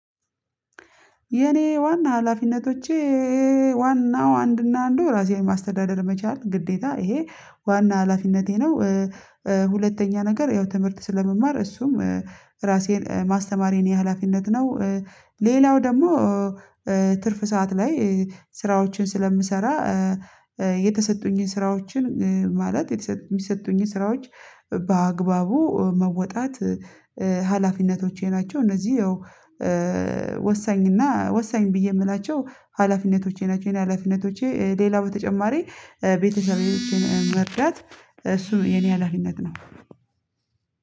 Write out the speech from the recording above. የኔ ዋና ሀላፊነቶቼ ዋናው አንድና አንድ ራሴን ማስተዳደር መቻል ግዴታ ይሄ ዋና ሀላፊነቴ ነው። ሁለተኛ ነገር ያው ትምህርት ስለመማር እሱም ራሴን ማስተማር የእኔ የሀላፊነት ነው። ሌላው ደግሞ ትርፍ ሰዓት ላይ ስራዎችን ስለምሰራ። የተሰጡኝን ስራዎችን ማለት የሚሰጡኝን ስራዎች በአግባቡ መወጣት። ሀላፊነቶቼ ናቸው እነዚህ ወሳኝ እና ወሳኝ ብዬ የምላቸው ሀላፊነቶቼ ናቸው። የኔ ሀላፊነቶቼ ሌላ በተጨማሪ ቤተሰቤዎቼን መርዳት እሱ የኔ ሀላፊነት ነው።